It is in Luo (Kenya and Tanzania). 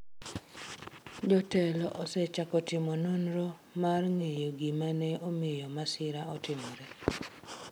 Jotelo osechako timo nonro mar ng’eyo gima ne omiyo masirano otimore.